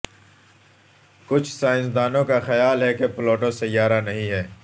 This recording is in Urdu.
کچھ سائنسدانوں کا خیال ہے کہ پلوٹو سیارہ نہیں ہے